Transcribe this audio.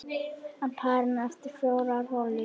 Á parinu eftir fjórar holur.